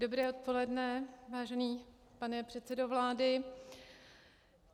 Dobré odpoledne, vážený pane předsedo vlády.